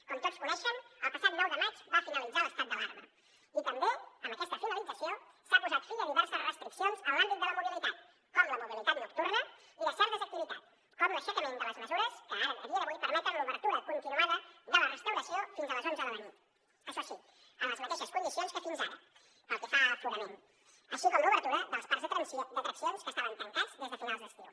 com tots coneixen el passat nou de maig va finalitzar l’estat d’alarma i també amb aquesta finalització s’ha posat fi a diverses restriccions en l’àmbit de la mobilitat com la mobilitat nocturna i de certes activitats com l’aixecament de les mesures que ara a dia d’avui permeten l’obertura continuada de la restauració fins a les onze de la nit això sí en les mateixes condicions que fins ara pel que fa a aforament així com l’obertura dels parcs d’atraccions que estaven tancats des de finals d’estiu